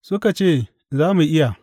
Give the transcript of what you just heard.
Suka ce, Za mu iya.